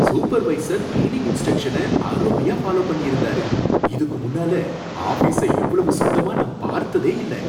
Supervisor cleaning இன்ஸ்டிரக்ஷன அருமையா follow பண்ணியிந்தாரு, இதுக்குமுன்னால ஆஃபீஸ இவ்ளோ சுத்தமா நான் பார்த்ததே இல்ல!